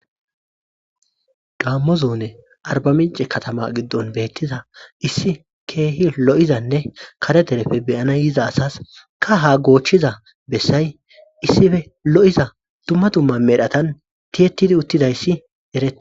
gammo zone arbaminci katama giddon beettiza issi keehi lo'izanne kare derefe beyana yiza asas kaha goochchiza bessay issife lo'iza dumma dumma medhatan tiyettidi uttidayssi eretes